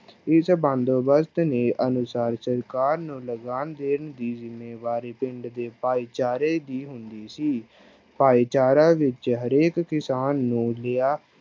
ਇਸ ਬੰਦੋਬਸਤ ਦੇ ਅਨੁਸਾਰ ਸਰਕਾਰ ਨੂੰ ਲਗਾਨ ਦੇਣ ਦੀ ਜ਼ਿੰਮੇਵਾਰੀ ਪਿੰਡ ਦੇ ਭਾਈਚਾਰੇ ਦੀ ਹੁੰਦੀ ਸੀ, ਭਾਈਚਾਰਾਂ ਵਿੱਚ ਹਰੇਕ ਕਿਸਾਨ ਨੂੰ ਲਿਆ